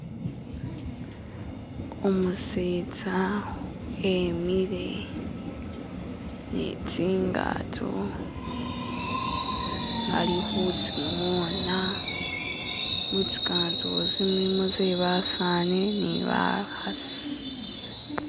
Umusetsa emile ni tsingato ali khutsingona, mutsingato tsi mulimo tsebasani ni bakhasi.